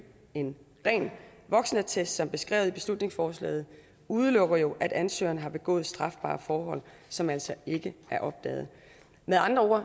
en ren voksenattest som beskrevet i beslutningsforslaget udelukker jo at ansøgeren har begået strafbare forhold som altså ikke er opdaget med andre ord